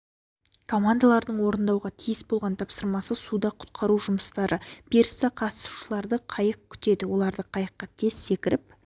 командалардың орындауға тиіс болған тапсырмасы суда құтқару жұмыстары пирста қатысушыларды қайық күтеді олар қайыққа тез секіріп